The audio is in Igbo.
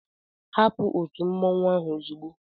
Hapụ òtù mmọnwụ ahụ ozugbo!